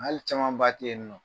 Hali camanba tɛ ye nin nɔ